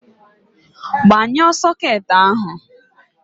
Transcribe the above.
Gbanyuo soket ahụ!